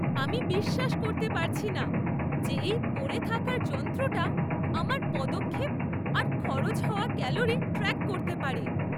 আমি বিশ্বাস করতে পারছি না যে এই পরে থাকার যন্ত্রটা আমার পদক্ষেপ আর খরচ হওয়া ক্যালোরি ট্র্যাক করতে পারে।